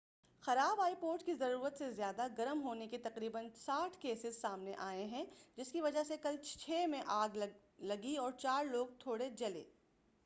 خراب iPods کے ضرورت سے زیادہ گرم ہونے کے تقریناً 60 کیسز سامنے آئے جس کی وجہ سے کل چھ میں آگ لگی اور چار لوگ تھوڑے جلے